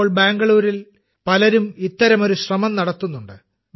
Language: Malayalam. ഇപ്പോൾ ബാംഗ്ലൂരിൽ പലരും ഇത്തരമൊരു ശ്രമം നടത്തുന്നുണ്ട്